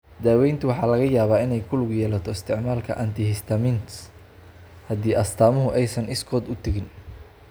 Daaweynta waxaa laga yaabaa inay ku lug yeelato isticmaalka antihistamines haddii astaamuhu aysan iskood u tegin.